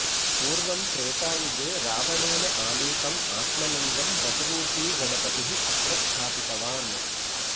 पूर्वं त्रेतायुगे रावणेन आनीतम् आत्मलिङ्गं वटुरूपी गणपतिः अत्र स्थापितवान्